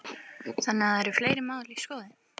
Þannig að það eru fleiri mál í skoðun?